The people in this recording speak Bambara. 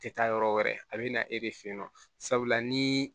Tɛ taa yɔrɔ wɛrɛ a bɛ na e de fe yen nɔ sabula ni